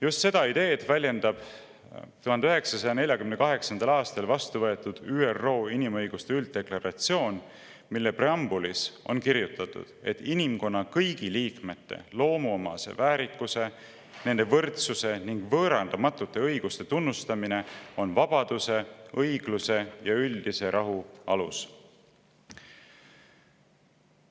Just seda ideed väljendab 1948. aastal vastu võetud ÜRO inimõiguste ülddeklaratsioon, mille preambulis on kirjutatud: inimkonna kõigi liikmete loomuomase väärikuse, nende võrdsuse ning võõrandamatute õiguste tunnustamine on vabaduse, õigluse ja üldise rahu alus.